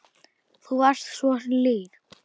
Þú varst svo hlýr.